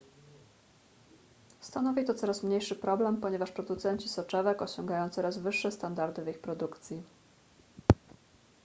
stanowi to coraz mniejszy problem ponieważ producenci soczewek osiągają coraz wyższe standardy w ich produkcji